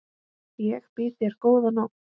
Ég býð þér góða nótt.